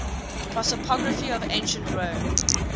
prosopography of ancient rome